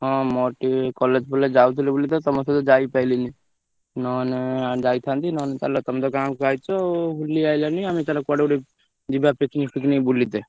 ହଁ ମୋର ଟିକେ college ଫଲେଜ ଯାଉଥିଲି ବୋଲିତ ତମ ସହ ଯାଇପାରିଲିନୀ ନହେଲେ ଯାଇଥାନ୍ତି ନହେଲେ ଚାଲ ତମେ ତ ଗାଁକୁ ଆଇଛ ଆଉ ବୁଲି ଆଇଲଣି ଆମେ ଚାଲ କୁଆଡେ ଗୋଟେ ଯିବା picnic ଫିକନିକ ବୁଲିତେ।